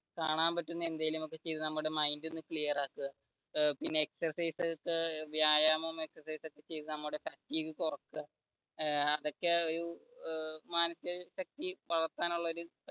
കാണാൻ പറ്റുന്ന എന്തെങ്കിലും ഒക്കെ ചെയ്തു നമ്മുടെ മൈൻഡ് ഒന്ന് ക്ലിയർ ആക്കുക പിന്നെ exercise ഒക്കെ വ്യായാമം exercise ഒക്കെ ചെയ്തു നമ്മുടെ കുറക്കുക അതൊക്കെ ഒരു മാനസിക ശക്തി വളർത്താൻ ഉള്ള ഒരു